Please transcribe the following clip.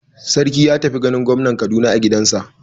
Sarki ya tafi ganin gwamnan Kaduna a gidansa.